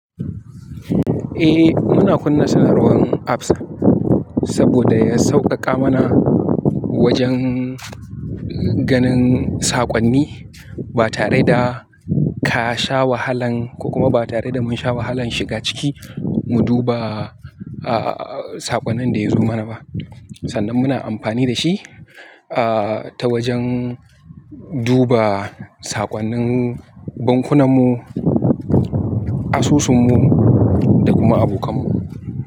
Eh muna kunna sanarwan apps saboda ya sauƙaƙa mana wajen ganin saƙonni ba tare da ka sha wahalan ko kuma ba tare da mun sha wahalan shiga ciki mu duba saƙonnin da yazo mana ba. Sannan muna amfani da shi ta wajen duba saƙonnin bankunanmu, asusunmu da kuma abokanmu.